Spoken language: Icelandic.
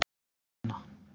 Finna